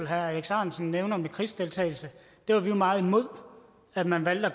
herre alex ahrendtsen nævner med krigsdeltagelse var vi jo meget imod at man valgte at